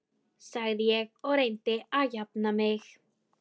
sagði ég og reyndi að jafna mig.